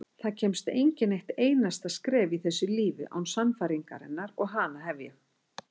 Það kemst enginn eitt einasta skref í þessu lífi án sannfæringarinnar og hana hef ég.